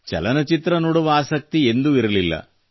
ಚಲನಚಿತ್ರ ನೋಡುವ ಆಸಕ್ತಿ ಎಂದೂ ಇರಲಿಲ್ಲ